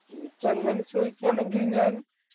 എനിക്കങ്ങനെ ചോദിക്കാണെങ്കിൽ ഞാൻ